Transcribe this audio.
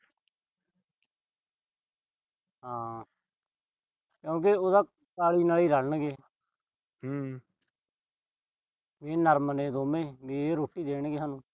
ਹਾਂ। ਕਿਉਂਕਿ ਉਹ ਤਾਂ ਘਰ ਆਲੀ ਨਾਲ ਈ ਰਲਣਗੇ। ਵੀ ਇਹ ਨਰਮ ਨੇ ਦੋਵੇਂ ਵੀ ਇਹ ਰੋਟੀ ਦੇਣਗੇ ਸਾਨੂੰ।